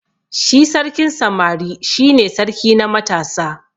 Shi sarkin samari shi ne sarki na matasa.